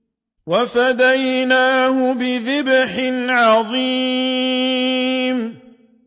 وَفَدَيْنَاهُ بِذِبْحٍ عَظِيمٍ